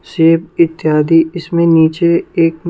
सेब इत्यादि इसमें नीचे एक--